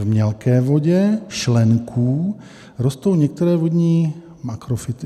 V mělké vodě šlenků rostou některé vodní makrofyty.